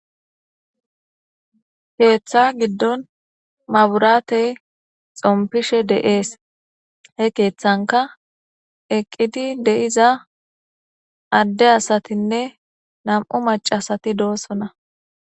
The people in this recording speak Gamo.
keeththa giddon maburate xompishe de'ees, he keeththanka eqqidi de'iza adde asatinne nam'u macasati doossona.